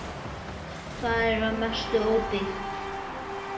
Það er að mestu óbyggt.